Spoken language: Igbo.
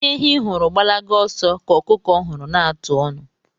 Ihe ehi hụrụ gbalaga ọsọ kà ọkụkọ hụrụ na-atụ ọnụ.